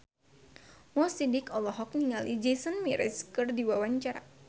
Mo Sidik olohok ningali Jason Mraz keur diwawancara